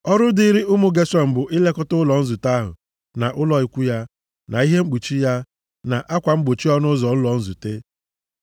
Ọrụ dịrị ụmụ Geshọn bụ ilekọta ụlọ nzute ahụ, na ụlọ ikwu ya, na ihe mkpuchi ya, na akwa mgbochi ọnụ ụzọ ụlọ nzute.